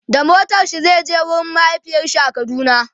da motarshi Zai je wurin mahaifiyarshi a kaduna